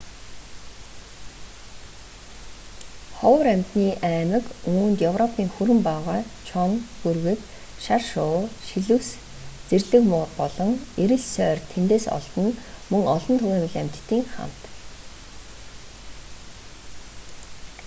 ховор амьтны аймаг үүнд европын хүрэн баавгай чоно бүргэд шар шувуу шилүүс зэрлэг муур болон эрэл сойр тэндээс олдоно мөн олон түгээмэл амьтадын хамт